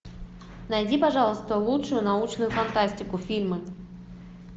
найди пожалуйста лучшую научную фантастику фильмы